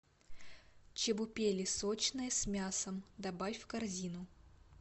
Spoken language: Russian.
чебупели сочные с мясом добавь в корзину